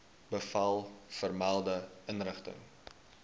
bevel vermelde inrigting